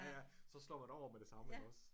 Ja ja så slår man over med det samme iggås